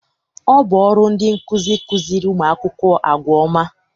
Ọ bụ ọrụ ndị nkụzi ịkụziri ụmụ akwụkwọ àgwà ọma.